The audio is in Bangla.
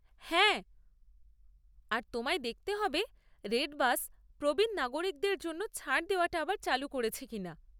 হ্যাঁ, আর তোমায় দেখতে হবে রেডবাস প্রবীণ নাগরিকদের জন্য ছাড় দেওয়াটা আবার চালু করেছে কিনা।